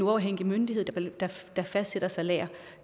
uafhængige myndighed der fastsætter salæret